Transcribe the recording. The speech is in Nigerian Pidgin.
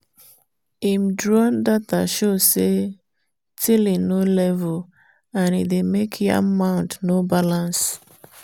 him drone data show say tilling no level and e dey make yam mound no balance.